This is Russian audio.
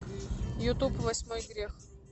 ютуб восьмой грех